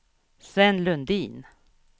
Sven Lundin